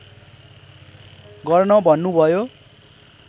गर्न भन्नु भयो